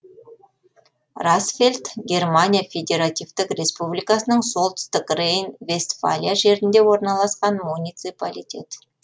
расфельд германия федеративтік республикасының солтүстік рейн вестфалия жерінде орналасқан муниципалитет